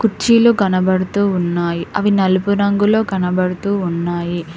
కుర్చీలు కనబడుతూ ఉన్నాయి అవి నలుపు రంగులో కనబడుతూ ఉన్నాయి.